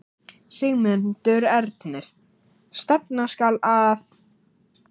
Sigmundur Ernir: Stefna skal að?